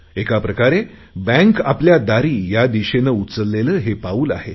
एकाप्रकारे bank आपल्या दारी या दिशेने उचलले हे पाऊल आहे